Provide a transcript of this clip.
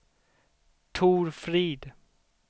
Tor Frid